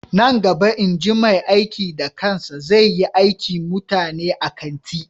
Nan gaba inji mai aiki da kansa zai yi aikin mutane a kanti